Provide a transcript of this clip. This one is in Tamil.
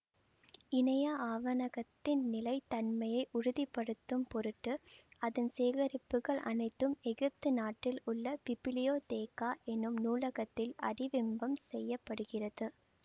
இணைய ஆவணகத்தின் நிலை தன்மையை உறுதி படுத்தும் பொருட்டு அதன் சேகரிப்புகள் அனைத்தும் எகிப்து நாட்டில் உள்ள பிபிலியோதெகா எனும் நூலகத்தில் ஆடிவிம்பம் செய்ய படுகிறது